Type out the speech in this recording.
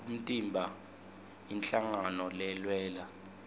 umtimba inhlangano lelwela